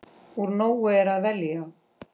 Úr nógu er að velja!